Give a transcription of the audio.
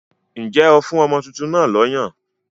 Ǹjẹ́ ó fún ọmọ tuntun náà lọ́yàn?